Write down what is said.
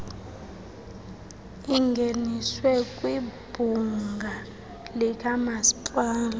ingeniswe kwibhunga likamasipala